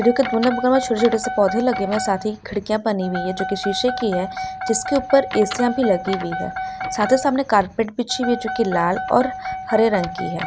छोटे छोटे से पौधे लागे हुए हैं साथ ही खिड़किया बनी हुई हैं जोकि शीशे की हैं जिसके ऊपर एशिया भी लगी हुई है साथो साथ में कार्पेट बिछी हुई है जोकि लाल और हरे रंग की है।